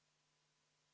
V a h e a e g